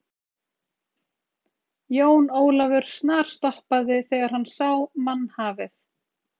Jón Ólafur snarstoppaði þegar hann sá mannhafið.